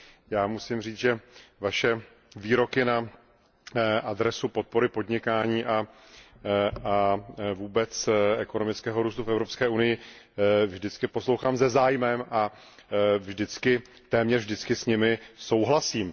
Já musím říct, že Vaše výroky na adresu podpory podnikání a vůbec ekonomického růstu v Evropské unii vždycky poslouchám se zájmem a téměř vždycky s nimi souhlasím.